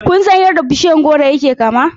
Kun san yadda bishiyar goro yake kama?